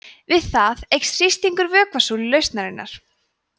við það eykst þrýstingur vökvasúlu lausnarinnar